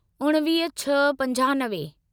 उणिवीह छह पंजानवे